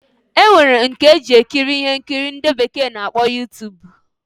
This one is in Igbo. Enwere nke eji ekiri ihe nkiri ndi bekee na-akpọ Youtube.